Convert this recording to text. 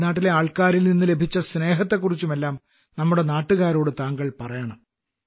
തമിഴ്നാട്ടിലെ ആൾക്കാരിൽനിന്നു ലഭിച്ച സ്നേഹത്തെക്കുറിച്ചുമെല്ലാം നമ്മുടെ നാട്ടുകാരോട് താങ്കൾ പറയണം